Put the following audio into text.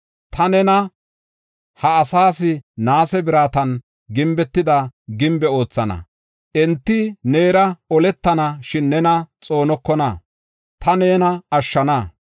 Ta nena ha asaas naase biratan gimbetida gimbe oothana. Enti neera oletana; shin nena xoonokona; ta nena ashshana.